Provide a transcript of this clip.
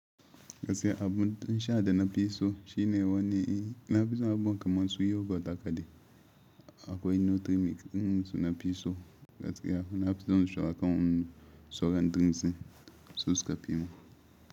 Gaskiya abun nishaɗi da na fi so shine wannan, na fi son abubuwan kamar su yogurt da kaɗai akwai nutrient ɗin su na fi so. Gaskiya na fi son shugaban sauran drinks in su suka fi mun.